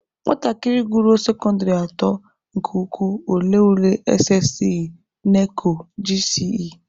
Nwatakịrị gụruo sekọndịrị atọ nke ukwuu, ọ lee ule SSCE/NECO/GCE.